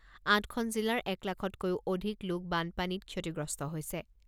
আঠখন জিলাৰ এক লাখতকৈও অধিক লোক বানপানীত ক্ষতিগ্ৰস্ত হৈছে।